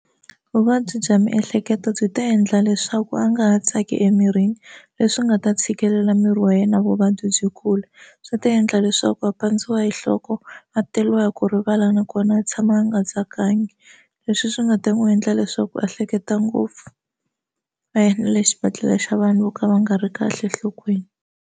Vuvabyi bya miehleketo byi ta endla leswaku a nga ha tsaki emirini leswi nga ta tshikelela miri wa yena vuvabyi byi kula swi ta endla leswaku a pandziwa hi nhloko a teriwa hi ku rivala nakona a tshama a nga tsakangi leswi swi nga ta n'wi endla leswaku a hleketa ngopfu a ya na le xibedhlele xa vanhu vo ka va nga ri kahle enhlokweni.